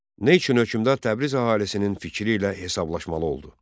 Nə üçün hökmdar Təbriz əhalisinin fikri ilə hesablaşmalı oldu?